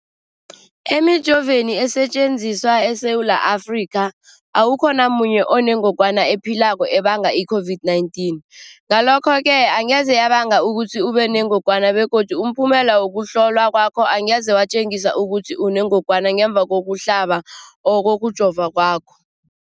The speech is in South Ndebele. Emijoveni esetjenziswa eSewula Afrika, awukho namunye onengog wana ephilako ebanga i-COVID-19. Ngalokho-ke angeze yabanga ukuthi ubenengogwana begodu umphumela wokuhlolwan kwakho angeze watjengisa ukuthi unengogwana ngemva kokuhlaba or kokujova kwakho.